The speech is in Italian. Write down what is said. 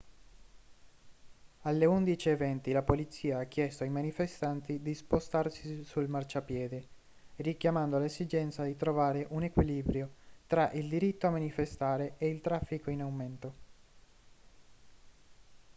alle 11:20 la polizia ha chiesto ai manifestanti di spostarsi sul marciapiede richiamando l'esigenza di trovare un equilibrio tra il diritto a manifestare e il traffico in aumento